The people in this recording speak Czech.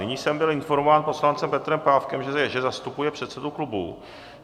Nyní jsem byl informován poslancem Petrem Pávkem, že zastupuje předsedu klubu.